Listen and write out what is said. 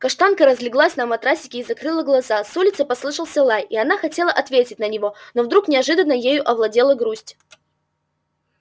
каштанка разлеглась на матрасике и закрыла глаза с улицы послышался лай и она хотела ответить на него но вдруг неожиданно ею овладела грусть